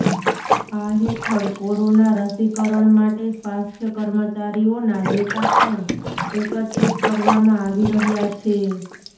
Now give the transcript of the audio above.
આ હેઠળ કોરોના રસીકરણ માટે સ્વાસ્થ્યકર્મચારીઓના ડેટા પણ એકત્રિત કરવામાં આવી રહ્યા છે